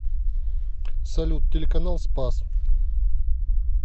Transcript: салют телеканал спас